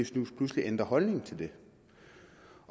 snus pludselig ændrer holdning til det